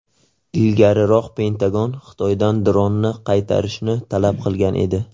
Ilgariroq Pentagon Xitoydan dronni qaytarishni talab qilgan edi .